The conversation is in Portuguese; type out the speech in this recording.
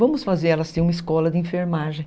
Vamos fazer uma escola de enfermagem.